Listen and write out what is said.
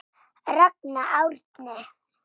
Ragnar Árni.